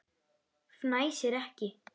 Fnæsir ekki.